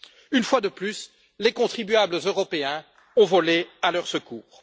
Une fois de plus, les contribuables européens ont volé à leur secours.